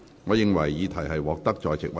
我宣布議案獲得通過。